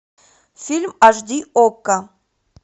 фильм аш ди окко